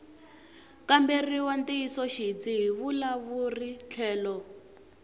kamberiwa ntiyisoxidzi hi vavulavuri tlhelo